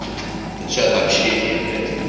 это чат общение блять